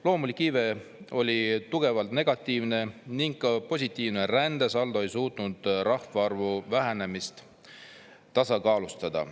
Loomulik iive oli tugevalt negatiivne ning ka positiivne rändesaldo ei suutnud rahvaarvu vähenemist tasakaalustada.